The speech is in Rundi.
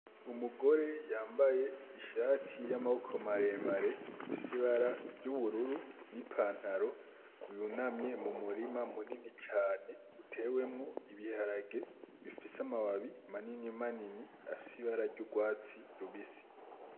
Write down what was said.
Umugore yambaye ishati y'amaboko maremare ifise ibara ry'ubururu n'ipantaro yunamye mu murima munini cane utewemwo ibiharage bifise amababi manini manini afise ibara ry'urwatsi rubisi.